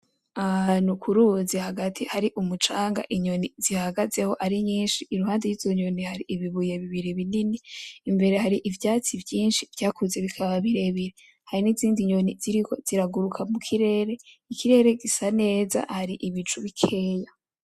Ahantu ku ruzi hagati hari umucanga inyoni zihagazeho ari nyinshi, iruhande yizo nyoni hari ibibuye bibiri binini, imbere hari ivyatsi vyinshi vyakuze bikaba birebire, hari n'izindi nyoni ziriko ziraguruka mukirere, ikirere gisa neza hari ibicu bikeya.